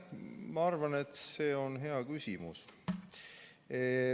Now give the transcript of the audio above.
Ma arvan, et see on hea küsimus.